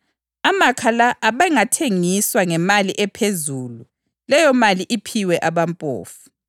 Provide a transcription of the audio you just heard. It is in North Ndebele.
Amakha la abengathengiswa ngemali ephezulu leyomali iphiwe abampofu.”